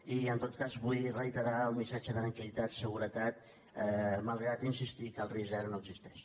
i en tot cas vull reiterar el missatge de tranquil·litat seguretat malgrat insistir que el risc zero no existeix